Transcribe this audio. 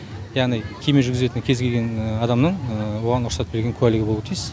яғни кеме жүргізетін кез келген адамның оған рұқсат берген куәлігі болуы тиіс